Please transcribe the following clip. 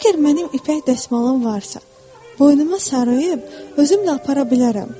Əgər mənim ipək dəsmalım varsa, boynuma sarıyıb özümlə apara bilərəm.